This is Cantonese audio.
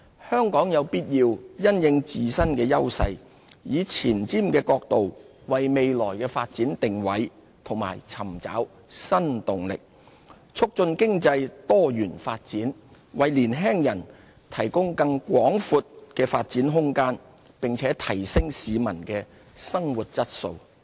香港有必要因應自身優勢，以前瞻角度，為未來發展定位和尋找新動力，促進經濟多元，為年輕人提供更廣闊的發展空間，並提升市民的生活質素。